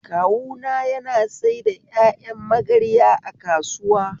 Kawuna na saida ƴaƴan magarya a kasuwa.